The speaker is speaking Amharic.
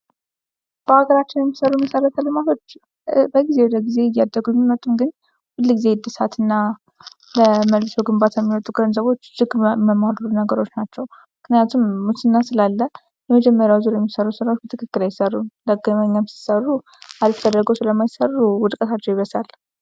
ከሀገራችን የሚሰሩ መሰረታዊ ልማቶች ከጊዜ ወደ ጊዜ እያደጉ ቢመጡም ግን ሁል ጊዜ አድሳትና በመልሶ ግንባታ የሚወጡ ገንዘቦች ነገሮች ናቸው:: ምክንያቱም ሙስና ስላለ የመጀመሪያ ዙር የሚሠሩ ስራዎች በትክክል አይሰሩም ሲሰሩ አሪፍ አርገው ስለማይሰሩ ውድቀታቸው ይበሳል::